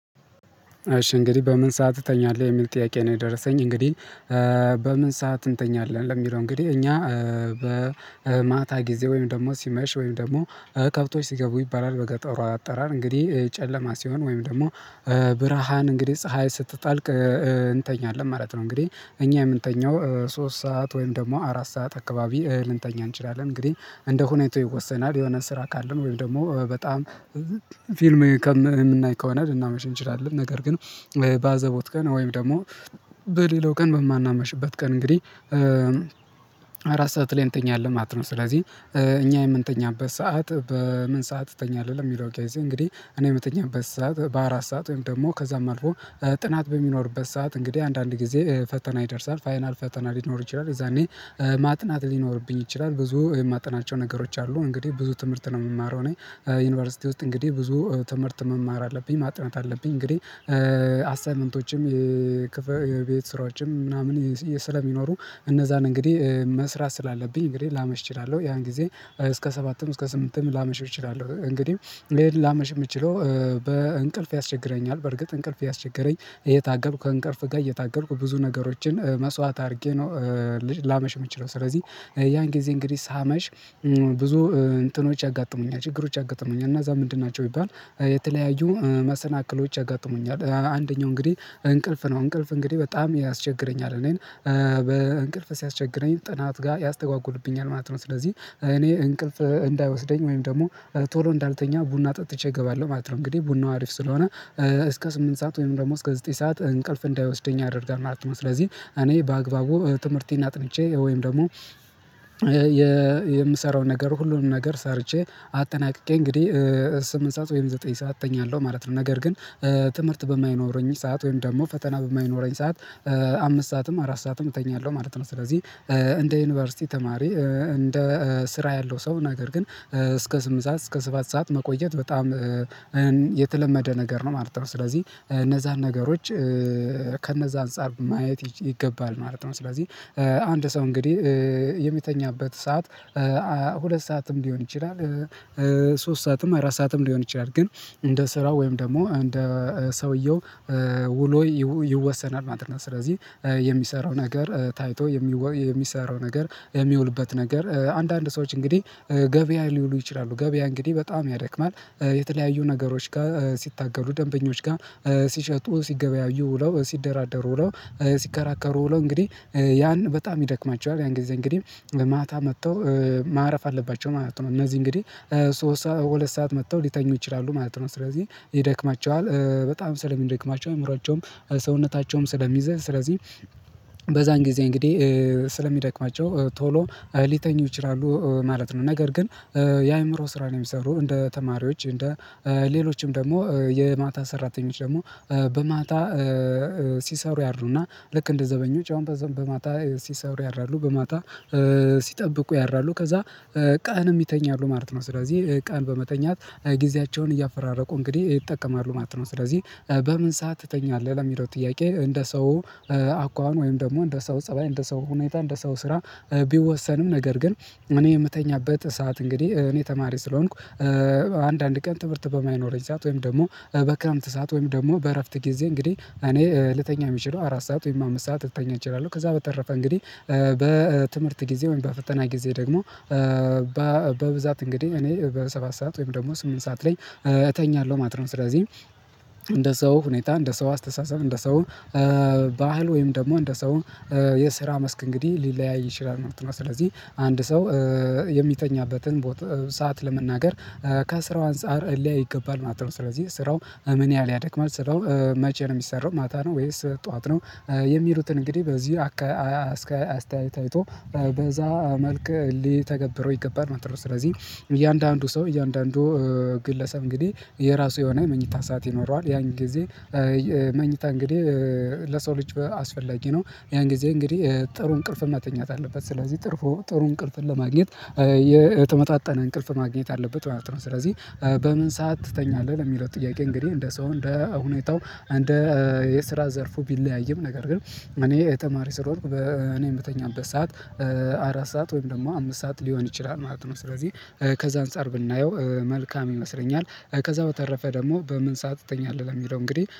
እሺ እንግዲህ በምን ሰዓት እተኛለሁ የሚል ጥያቄ ነው? የደረሰኝ እንግዲህ በምን ሰዓት እንተኛለን ለሚለው እንግዲህ እኛ በማታ ጊዜ ወይም ደግሞ ሲመሽ ወይም ደግሞ ከብቶች ሲገቡ ይባላል በገጠሯ አጠራር እንግዲህ ጨለማ ሲሆን ወይም ደግሞ ብርሃን እንግዲህ ፀሀይ ስትጣልቅ እንተኛለን ማለት ነው። እንግዲህ እኛ የምንተኘው ሶስት ሰዓት ወይም ደግሞ አራት ሰዓት አካባቢ ልንተኛ እንችላለን እንግዲህ እንደ ሁኔታው ይወሰናል የሆነ ስራ ካለን ወይም ደግሞ በጣም ፊልም ከምናይ ከሆነ ልናመሸ እንችላለን ነገር ግን ባዘቦት ቀን ወይም ደግሞ በሌላው ቀን በማናመሽበት ቀን እንግዲህ አራት ሰዓት ላይ እንተኛለን ማለት ነው። ስለዚህ እኛ የምንተኛበት ሰዓት በምን ሰዓት እተኛለሁ የሚለው ኬዝ እንግዲህ እኔ የምተኛበት ሰዓት በአራት ሰዓት ወይም ደግሞ ከዛም አልፎ ጥናት በሚኖርበት ሰዓት እንግዲህ አንዳንድ ጊዜ ፈተና ይደርሳል ፋይናል ፈተና ሊኖር ይችላል የዛኔ ማጥናት ሊኖርብኝ ይችላል ብዙ የማጠናቸው ነገሮች አሉ እንግዲህ ብዙ ትምህርት ነው። የምማረው እኔ ዩኒቨርሲቲ ውስጥ እንግዲህ ብዙ ትምህርት መማር አለብኝ ማጥናት አለብኝ እንግዲህ አስታይመንቶችም የክፍል ቤት ስራዎችም ምናምን ስለሚኖሩ እነዛን እንግዲህ መስራት ስላለብኝ እንግዲህ ላመሽ እችላለሁ ያን ጊዜ እስከ ሰባትም እስከ ስምንትም ላመሽ እችላለሁ። እንግዲህ ላመሽ የምችለው በእንቅልፍ ያስቸግረኛል በርግጥ እንቅልፍ ያስቸገረኝ እየታገልኩ ከእንቅርፍ ጋር እየታገልኩ ብዙ ነገሮችን መስዋዕት አድርጌ ነው ላመሽ የምችለው ስለዚህ። ያን ጊዜ እንግዲህ ሳመሽ ብዙ እንትኖች ያጋጠሙኛል ችግሮች ያጋጠሙኛል እና እዛ ምንድን ናቸው? ይባል የተለያዩ መሰናክሎች ያጋጥሙኛል አንደኛው እንግዲህ እንቅልፍ ነው እንቅልፍ እንግዲህ በጣም ያስቸግረኛል እኔን በእንቅልፍ ሲያስቸግረኝ ጥናት ጋር ያስተጓጉልብኛል ማለት ነው። ስለዚህ እኔ እንቅልፍ እንዳይወስደኝ ወይም ደግሞ ቶሎ እንዳልተኛ ቡና ጠጥቼ እገባለሁ ማለት ነው። እንግዲህ ቡናው አሪፍ ስለሆነ እስከ ስምንት ሰዓት ወይም ደግሞ እስከ ዘጠኝ ሰዓት እንቅልፍ እንዳይወስደኝ ያደርጋል ማለት ነው። ስለዚህ እኔ በአግባቡ ትምህርቴን አጥንቼ ወይም ደግሞ የምሰራውን ነገር ሁሉንም ነገር ሰርቼ አጠናቅቄ እንግዲህ ስምንት ሰዓት ወይም ዘጠኝ ሰዓተኛ አለው ማለት ነው። ነገር ግን ትምህርት በማይኖረኝ ሰዓት ወይም ደግሞ ፈተና በማይኖረኝ ሰዓት አምስት ሰዓትም አራት ሰዓትም እተኛለሁ ማለት ነው። ስለዚህ እንደ ዩኒቨርሲቲ ተማሪ እንደ ስራ ያለው ሰው ነገር ግን እስከ ስምንት ሰዓት እስከ ሰባት ሰዓት መቆየት በጣም የተለመደ ነገር ነው ማለት ነው። ስለዚህ እነዛን ነገሮች ከእነዛ አንፃር ማየት ይገባል ማለት ነው። ስለዚህ አንድ ሰው እንግዲህ የሚተኛበት ሰዓት ሁለት ሰዓትም ሊሆን ይችላል ሶስት ሰዓትም አራት ሰዓትም ሊሆን ይችላል ግን እንደ ስራ ወይም ደግሞ እንደ ሰውየው ውሎ ይወሰናል ማለት ነው። ስለዚህ የሚሰራው ነገር ታይቶ የሚወ የሚሰራው ነገር የሚውልበት ነገር አንዳንድ ሰዎች እንግዲህ ገበያ ሊውሉ ይችላሉ ገበያ እንግዲህ በጣም ያደክማል የተለያዩ ነገሮች ጋር ሲታገሉ ደንበኞች ጋር ሲሸጡ ሲገበያዩ ውለው ሲደራደሩ ውለው ሲከራከሩ ውለው እንግዲህ ያን በጣም ይደክማቸዋል ያን ጊዜ እንግዲህ ማታ መጥተው ማረፍ አለባቸው ማለት ነው። እነዚህ እንግዲህ ሶስት ሰዓት መጥተው ሊተኙ ይችላሉ ማለት ነው። ስለዚህ ይደክማቸዋል በጣም ሰለሚ ይደክማቸዋል አእምሮአቸውም ሰውነታቸውም ስለሚዘል ስለዚህ በዛን ጊዜ እንግዲህ ስለሚደክማቸው ቶሎ ሊተኙ ይችላሉ ማለት ነው። ነገር ግን የአእምሮ ስራ ነው የሚሰሩ እንደ ተማሪዎች እንደ ሌሎችም ደግሞ የማታ ሰራተኞች ደግሞ በማታ ሲሰሩ ያድሩ እና ልክ እንደ ዘበኞች አሁን በማታ ሲሰሩ ያድራሉ በማታ ሲጠብቁ ያራሉ ከዛ ቃንም ይተኛሉ ማለት ነው። ስለዚህ ቀን በመተኛት ጊዜያቸውን እያፈራረቁ እንግዲህ ይጠቀማሉ ማለት ነው። ስለዚህ በምን ሰዓት ትተኛለህ ለሚለው ጥያቄ እንደ ሰው አኳኋን ወይም ደግሞ እንደ ሰው ፀባይ እንደ ሰው ሁኔታ እንደ ሰው ስራ ቢወሰንም ነገር ግን እኔ የምተኛበት ሰዓት እንግዲህ እኔ ተማሪ ስለሆንኩ አንዳንድ ቀን ትምህርት በማይኖረኝ ሰዓት ወይም ደግሞ በክረምት ሰዓት ወይም ደግሞ በእረፍት ጊዜ እንግዲህ እኔ ልተኛ የምችለው አራት ሰዓት ወይም አምስት ሰዓት ልተኛ እችላለሁ ከዛ በተረፈ እንግዲህ በትምህርት ጊዜ ወይም በፈተና ጊዜ ደግሞ በብዛት እንግዲህ እኔ በሰባት ሰዓት ወይም ደግሞ ስምንት ሰዓት ላይ እተኛለሁ ማለት ነው። ስለዚህ እንደ ሰው ሁኔታ እንደ ሰው አስተሳሰብ እንደ ሰው ባህል ወይም ደግሞ እንደ ሰው የስራ መስክ እንግዲህ ሊለያይ ይችላል ማለት ነው። ስለዚህ አንድ ሰው የሚተኛበትን ቦታ ሰዓት ለመናገር ከስራው አንፃር ሊያይ ይገባል ማለት ነው። ስለዚህ ስራው ምን ያህል ያደክማል ስራው መቼ ነው የሚሰራው ማታ ነው ወይስ ጠዋት ነው? የሚሉትን እንግዲህ በዚህ አካ አስተያየት አይቶ በዛ መልክ ሊተገብረው ይገባል ማለት ነው። ስለዚህ እያንዳንዱ ሰው እያንዳንዱ ግለሰብ እንግዲህ የራሱ የሆነ መኝታ ሰዓት ይኖረዋል ያን ጊዜ መኝታ እንግዲህ ለሰው ልጅ አስፈላጊ ነው። ያን ጊዜ እንግዲህ ጥሩ እንቅልፍ ማተኛት አለበት ስለዚህ ጥሩ ጥሩ እንቅልፍን ለማግኘት የተመጣጠነ እንቅልፍ ማግኘት አለበት ማለት ነው። ስለዚህ በምን ሰዓት ትተኛለህ ለሚለው ጥያቄ? እንግዲህ እንደ ሰው እንደ ሁኔታው እንደ የስራ ዘርፉ ቢለያይም ነገር ግን እኔ ተማሪ ስለሆንኩ በእኔ የምተኛበት ሰዓት አራት ሰዓት ወይም ደግሞ አምስት ሰዓት ሊሆን ይችላል ማለት ነው። ስለዚህ ከዛ አንፃር ብናየው መልካም ይመስለኛል ከዛ በተረፈ ደግሞ በምን ሰዓት ትተኛለህ ለሚለው እንግዲህ